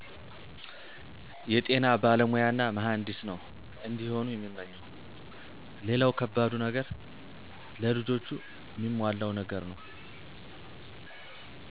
የጤና ባለሞያና መሀንዲስ ነው እንዲሆኑ የምመኘው፣ ሌላው ከባዱ ነገር ለልጆቹ ሚሟላው ነገር ነው።